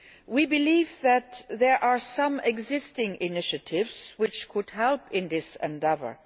We believe that there are some existing initiatives which could help in this endeavour.